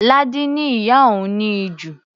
Ládi ni ìyá òun ní ìju.